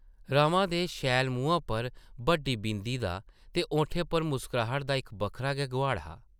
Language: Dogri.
रमा दे शैल मुहां पर बड्डी बिंदी दा ते होठें पर मुस्कराह्ट दा इक बक्खरा गै गोहाड़ हा ।